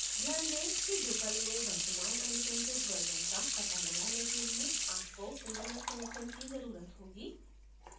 ध्यान दें कि drupal में वर्तमान अनुशंसित version का पता लगाने के लिए आपको internet connection की जरूरत होगी